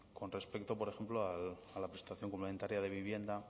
con respecto por ejemplo a la prestación complementaria de vivienda